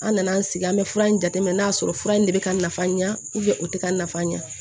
An nana an sigi an be fura in jateminɛ n'a y'a sɔrɔ fura in de be ka nafa ɲɛ o tɛ ka nafa ɲɛ